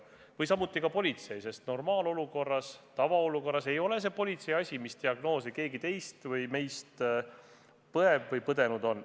Sama võib öelda politsei kohta, sest tavaolukorras ei ole politsei asi, mis diagnoosi keegi meist saanud on või mida on keegi põdenud.